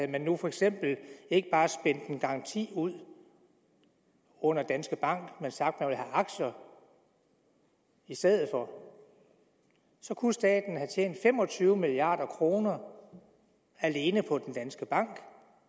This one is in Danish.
man nu for eksempel ikke bare spændt en garanti ud under danske bank men sagt at aktier i stedet for kunne staten have tjent fem og tyve milliard kroner alene på danske bank